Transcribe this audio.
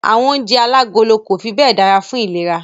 Àwọn oúnjẹ alágolo kò fi bẹ́ẹ̀ dára fún ìlera.